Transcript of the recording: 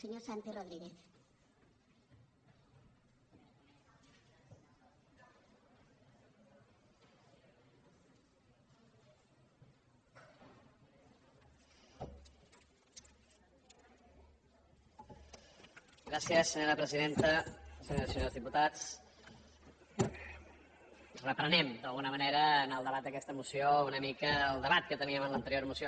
senyores i senyors diputats reprenem d’alguna manera en el debat d’ aquesta moció una mica el debat que teníem en l’anterior moció